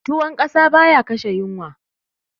Tuwon ƙasa baya kashe yunwa